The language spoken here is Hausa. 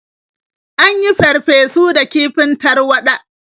An yin farfesu da kifin tarwaɗa.